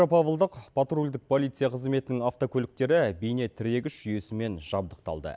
петропавлдық патрульдік полиция қызметінің автокөліктері бейнетірегіш жүйесімен жабдықталды